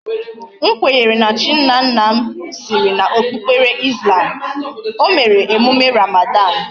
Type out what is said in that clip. M kwenyere na chi nna nna m.siri na okpukpere Islam, o mere emume Ramadan